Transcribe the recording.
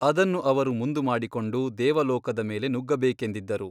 ಅದನ್ನು ಅವರು ಮುಂದುಮಾಡಿಕೊಂಡು ದೇವಲೋಕದ ಮೇಲೆ ನುಗ್ಗಬೇಕೆಂದಿದ್ದರು.